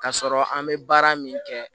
K'a sɔrɔ an bɛ baara min kɛ